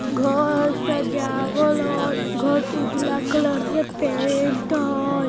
घर सजावल हय घर उजला कलर से पेंट हय।